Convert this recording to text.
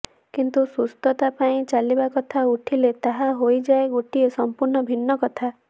କିନ୍ତୁ ସୁସ୍ଥତା ପାଇଁ ଚାଲିବା କଥା ଉଠିଲେ ତାହା ହୋଇ ଯାଏ ଗୋଟାଏ ସମ୍ପୂର୍ଣ୍ଣ ଭିନ୍ନ କଥା